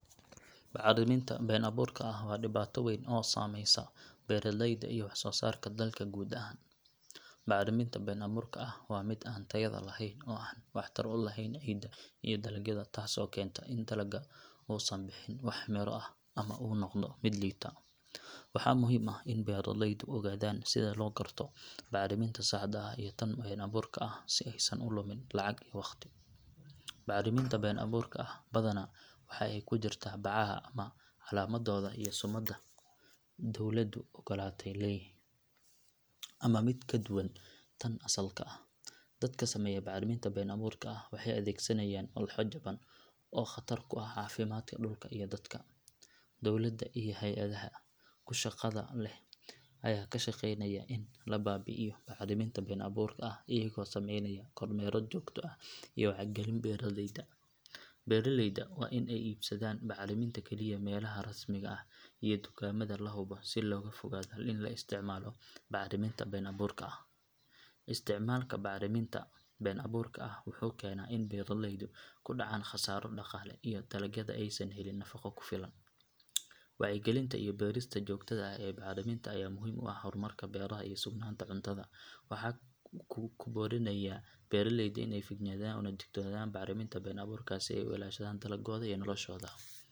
Bacriminta been abuurka ah waa dhibaato weyn oo saameysa beeraleyda iyo wax soo saarka dalka guud ahaan. Bacriminta been abuurka ah waa mid aan tayada lahayn oo aan waxtar u lahayn ciidda iyo dalagyada taasoo keenta in dalagga uusan bixin wax miro ah ama uu noqdo mid liita. Waxaa muhiim ah in beeraleydu ogaadaan sida loo garto bacriminta saxda ah iyo tan been abuurka ah si aysan u lumin lacag iyo waqti. Bacriminta been abuurka ah badanaa waxay ku jirtaa bacaha aan calaamadooda iyo sumadda dawladdu ogolaatay lahayn, ama mid ka duwan tan asalka ah. Dadka sameeya bacriminta been abuurka ah waxay adeegsanayaan walxo jaban oo khatar ku ah caafimaadka dhulka iyo dadka. Dowladda iyo hay’adaha ku shaqada leh ayaa ka shaqeynaya in la baabi’iyo bacriminta been abuurka ah iyagoo sameynaya kormeerro joogto ah iyo wacyigelin beeraleyda. Beeraleyda waa in ay iibsadaan bacriminta kaliya meelaha rasmiga ah iyo dukaamada la hubo si looga fogaado in la isticmaalo bacriminta been abuurka ah. Isticmaalka bacriminta been abuurka ah wuxuu keenaa in beeraleydu ku dhacaan khasaaro dhaqaale iyo in dalagyada aysan helin nafaqo ku filan. Wacyigelinta iyo baarista joogtada ah ee bacriminta ayaa muhiim u ah horumarka beeraha iyo sugnaanta cuntada. Waxaan ku boorinayaa beeraleyda in ay feejignaadaan una digtoonaadaan bacriminta been abuurka ah si ay u ilaashadaan dalaggooda iyo noloshooda.